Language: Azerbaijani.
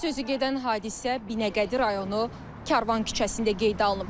Sözü gedən hadisə Binəqədi rayonu Karvan küçəsində qeydə alınıb.